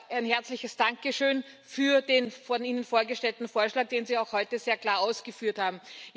Ein herzliches Dankeschön für den von Ihnen vorgestellten Vorschlag, den Sie auch heute sehr klar ausgeführt haben.